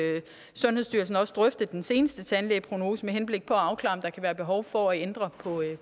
sundhedsstyrelsen også drøfte den seneste tandplejeprognose med henblik på at afklare om der kan være behov for at ændre